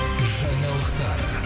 жаңалықтар